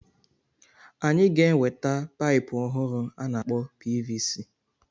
Anyị ga-enweta paịpu ọhụrụ a na-akpọ PVC.